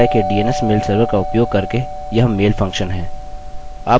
अतः मेरे विश्वविद्यालय के dns मेल सर्वर का उपयोग करके यह मेल फंक्शन है